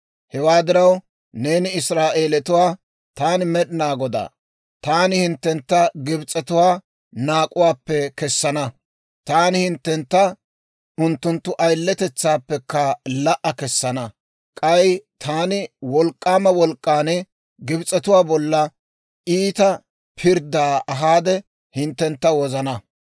«Hewaa diraw, neeni Israa'eelatuwaa, ‹Taani Med'inaa Godaa; Taani hinttentta Gibs'etuwaa naak'uwaappe kessana; Taani hinttentta unttunttu ayiletetsaappekka la"a kessana; k'ay Taani ta wolk'k'aama wolk'k'aan Gibs'etuwaa bolla iita pirddaa ahaade hinttentta wozana.